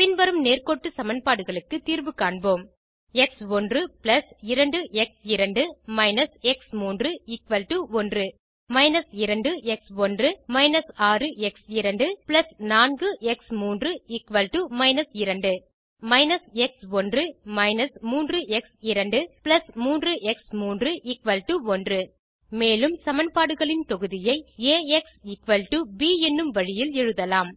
பின் வரும் நேர்க்கோட்டு சமன்பாடுகளுக்கு தீர்வு காண்போம் x one 2 x two − x three 1 −2 x one − 6 x two 4 x three −2 மற்றும் − எக்ஸ்1 − 3 எக்ஸ்2 3 எக்ஸ்3 1 மேலுள்ள சமன்பாடுகளின் தொகுதியை ஏஎக்ஸ் ப் என்னும் வழியில் எழுதலாம்